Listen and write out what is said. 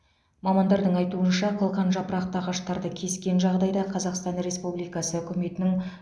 мамандардың айтуынша қылқанжапырақты ағаштарды кескен жағдайда қазақстан республикасы үкіметінің